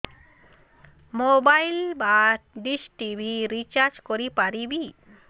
mobile ବା dish TV recharge କରି ପାରିବି